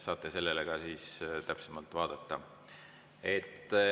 Saate sealt siis täpsemalt vaadata.